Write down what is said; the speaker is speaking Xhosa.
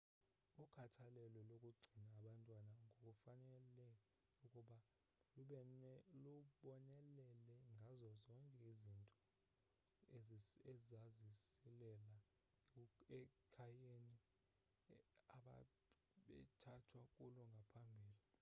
ukhathalelo lokugcina abantwana kufanele ukuba lubonelele ngazo zonke izinto ezazisilela ekhayeni ababethathwe kulo ngaphambili